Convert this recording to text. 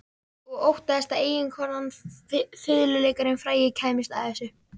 Og óttaðist að eiginkonan, fiðluleikarinn frægi, kæmist að þessu.